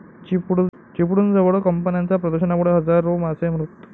चिपळूणजवळ कंपन्यांच्या प्रदूषणामुळे हजारो मासे मृत